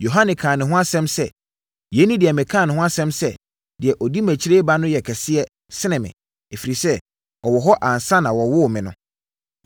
Yohane kaa ne ho asɛm sɛ, “Yei ne deɛ mekaa ne ho asɛm sɛ, ‘Deɛ ɔdi mʼakyi reba no yɛ kɛse sene me, ɛfiri sɛ, ɔwɔ hɔ ansa na wɔwoo me no.’ ”